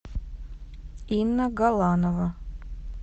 инна галанова